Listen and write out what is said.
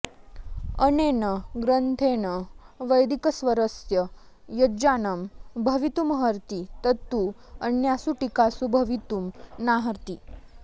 अनेन ग्रन्थेन वैदिकस्वरस्य यज्ज्ञानं भवितुमर्हति तत्तु अन्यासु टीकासु भवितुं नार्हति